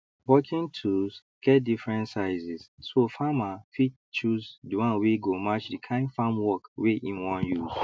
working tools get different sizes so farmer fit choose the one wey go match the kind farm work wey im wan use